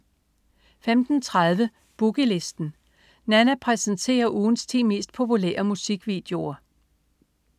15.30 Boogie Listen. Nanna præsenterer ugens 10 mest populære musikvideoer